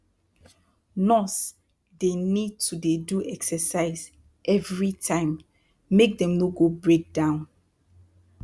nurse dey need to dey do exercise everi time make dem no go break down